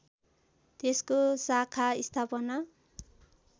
त्यसको शाखा स्थापना